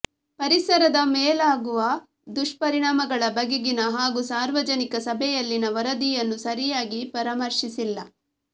ಪರಿಸರದ ಮೇಲಾಗುವ ದುಷ್ಪರಿಣಾಮಗಳ ಬಗೆಗಿನ ಹಾಗೂ ಸಾರ್ವಜನಿಕ ಸಭೆಯಲ್ಲಿನ ವರದಿಯನ್ನು ಸರಿಯಾಗಿ ಪರಾಮರ್ಶಿಸಿಲ್ಲ